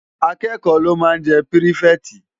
Ákëkò ló má n jè pirifèti